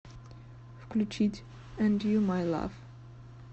включить энд ю май лав